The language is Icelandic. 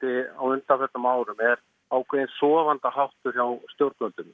á undanförnum árum er ákveðin sofandaháttur hjá stjórnvöldum